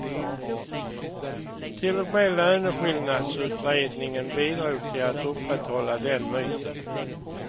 Till och med löneskillnadsutredningen bidrog till att upprätthålla den myten.